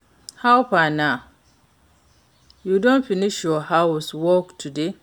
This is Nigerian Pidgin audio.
How far na, you don finish your house work today?